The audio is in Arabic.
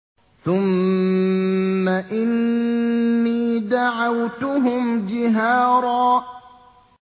ثُمَّ إِنِّي دَعَوْتُهُمْ جِهَارًا